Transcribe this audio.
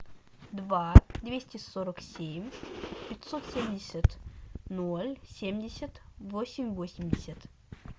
два двести сорок семь пятьсот семьдесят ноль семьдесят восемь восемьдесят